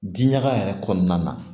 Diɲaga yɛrɛ kɔnɔna na